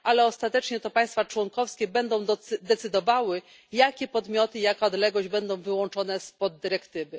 Ale ostatecznie to państwa członkowskie będą decydowały, jakie podmioty i jaka odległość będą wyłączone z dyrektywy.